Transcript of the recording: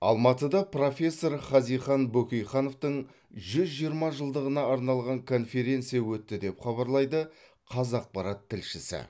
алматыда профессор хазихан бөкейхановтың жүз жиырма жылдығына арналған конференция өтті деп хабарлайды қазақпарат тілшісі